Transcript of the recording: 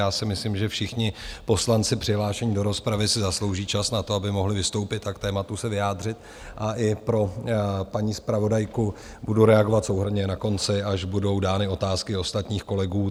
Já si myslím, že všichni poslanci přihlášení do rozpravy si zaslouží čas na to, aby mohli vystoupit a k tématu se vyjádřit, a i pro paní zpravodajku budu reagovat souhrnně na konci, až budou dány otázky ostatních kolegů.